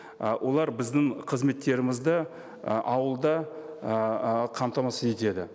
і олар біздің қызметтерімізді і ауылда ыыы қамтамасыз етеді